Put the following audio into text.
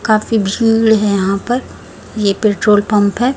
काफी भीड़ है यहां पर ये पेट्रोल पंप है।